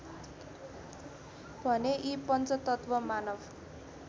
भने यी पञ्चतत्त्व मानव